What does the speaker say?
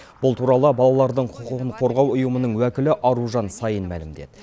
бұл туралы балалардың құқығын қорғау ұйымының уәкілі аружан саин мәлімдеді